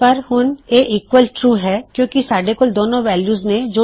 ਪਰ ਹੁਣ ਇਹ ਈਕਵਲ ਟਰੂ ਹੈ ਕਿਉਂ ਕਿ ਸਾਡੇ ਕੋਲ ਦੋਨੋ ਵੈਲਯੂਜ ਨੇ